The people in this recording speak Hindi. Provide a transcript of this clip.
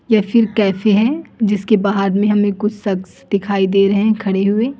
ये फिल कैफे हैं जिसके बाहर में हमें कुछ सख्स दिखाई दे रहे हैं खड़े हुए।